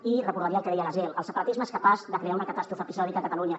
i recordaria el que deia gaziel el separatisme és capaç de crear una catàstrofe episòdica a catalunya